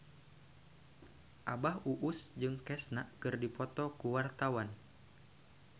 Abah Us Us jeung Kesha keur dipoto ku wartawan